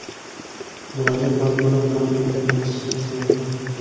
Murojaat mazmuni bilan quyida tanishishingiz mumkin.